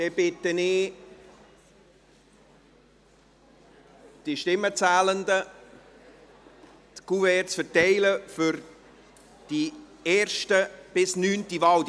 Dann bitte ich die Stimmenzählenden, die Kuverts für die erste bis neunte Wahl auszuteilen.